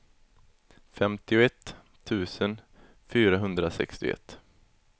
femtioett tusen fyrahundrasextioett